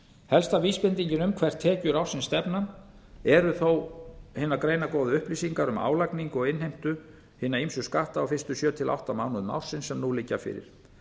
helsta vísbendingin um hvert tekjur ársins stefna eru þó hinar greinargóðu upplýsingar um álagningu og innheimtu hinna ýmsu skatta á fyrstu sjö til átta mánuðum ársins sem nú liggja fyrir